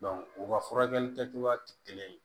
u ka furakɛli kɛcogoya tɛ kelen ye